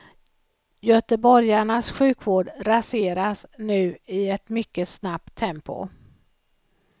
Göteborgarnas sjukvård raseras nu i ett mycket snabbt tempo.